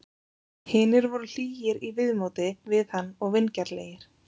Hinir voru hlýir í viðmóti við hann og vingjarnlegir.